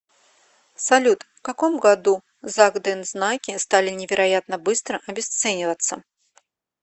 салют в каком году закдензнаки стали невероятно быстро обесцениваться